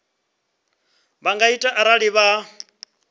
vha nga ita arali vha